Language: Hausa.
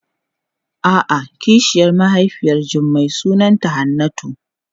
A'a kishiyar mahaifiyar Jummai sunanta Hannatu.